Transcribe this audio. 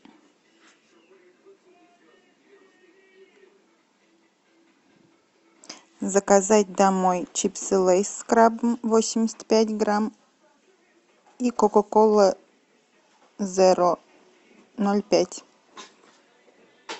заказать домой чипсы лейс с крабом восемьдесят пять грамм и кока кола зеро ноль пять